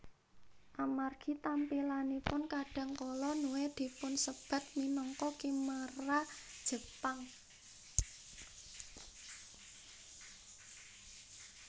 Amargi tampilanipun kadang kala Nue dipunsebat minangka khimera Jepang